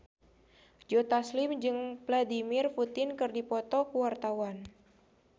Joe Taslim jeung Vladimir Putin keur dipoto ku wartawan